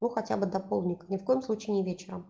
ну хотя бы до полдника ни в коем случае не вечером